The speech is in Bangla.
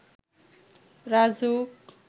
রাজউক